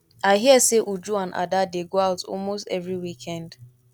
i hear say uju and ada dey go out almost every weekend